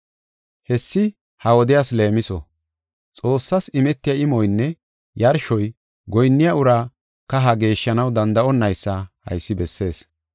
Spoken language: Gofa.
Hessi ha wodiyas leemiso; Xoossas imetiya imoynne yarshoy goyinniya uraa kaha geeshshanaw danda7onaysa haysi bessees.